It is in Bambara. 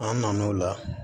An nan'o la